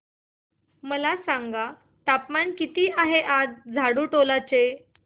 मला सांगा तापमान किती आहे आज झाडुटोला चे